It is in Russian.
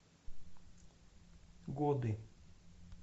годы